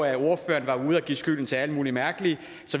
give skylden til alle mulige mærkelige